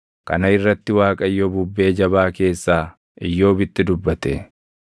Kana irratti Waaqayyo bubbee jabaa keessaa Iyyoobitti dubbate: